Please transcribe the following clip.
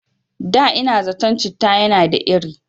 Da ina zaton citta yana da iri